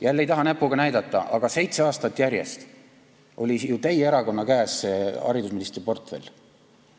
Jälle ei taha näpuga näidata, aga seitse aastat järjest oli haridusministri portfell teie erakonna käes.